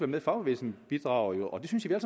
med fagbevægelsen bidrager jo og det synes jeg